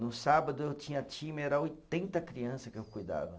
No sábado eu tinha time, era oitenta criança que eu cuidava.